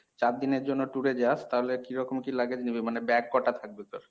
চারদিনের জন্য tour এ যাস তাহলে কিরকম কী luggage নিবি মানে bag কটা থাকবে তোর?